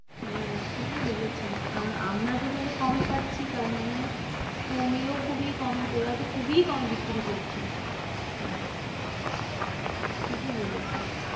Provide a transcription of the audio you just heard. হ্যাঁ, ঠিকই বলেছিস কারণ আমরা যেকালে কমে পাচ্ছি তার মানে তুইও খুবই কমে তোরা তো খুবই কমে বিক্রি করছিস, হ্যাঁ ঠিকই বলেছিস।